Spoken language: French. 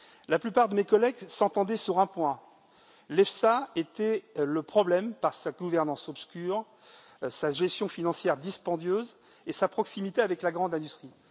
La plupart de mes collègues s'entendaient sur un point l'EFSA était le problème, par sa gouvernance obscure, sa gestion financière dispendieuse et sa proximité avec la grande industrie.